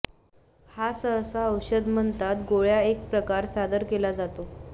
हा सहसा औषध म्हणतात गोळ्या एक प्रकार सादर केला जातो